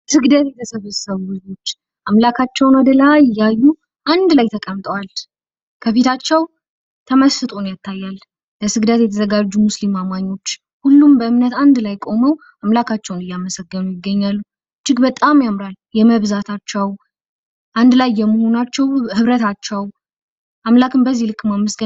ስግደት የተሰበሰቡ ህዝቦች አምላካቸዉን ወደ ላይ እያዩ አንድ ላይ ተቀመጠዋል። ከፊታቸዉ ተመስጦ ይታያል። ለስግደት የተዘጋጁ ሙስሊም አማኞች። ሁሉም በእምነት አንድ ላይ ቆመዉ አምላካቸዉን እያመሰገኑ ይገኛሉ። እጅግ በጣም ያምራል። የመብዛታቸዉ አንድ ላይ መሆናቸዉ የህብረታቸዉ አምላክን በዚህ ልክ ማመስገን ያሳያል።